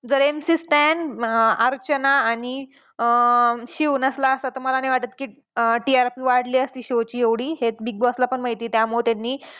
जर MC Stan अं अर्चना आणि अं शिव नसला असता तर मला नाही वाटत की अं TRP वाढली असती show ची एवढी हे Big Boss ला पण माहिती आहे त्यामुळं त्यांनी